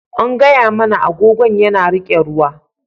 An faɗa mana cewa agogon yana riƙe ruwa.